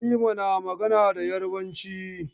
Halima na magana da Yarabanci.